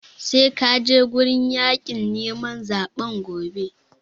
Sai ka je wurin yaƙin neman zaɓen gobe!